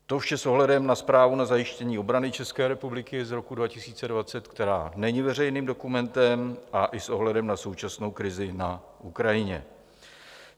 To vše s ohledem na zprávu o zajištění obrany České republiky z roku 2020, který není veřejným dokumentem, a i s ohledem na současnou krizi na Ukrajině.